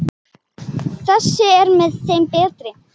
Þessi er með þeim betri.